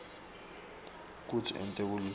kutsi ente lokutsite